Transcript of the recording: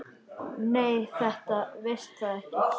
Nei, þú veist það ekki.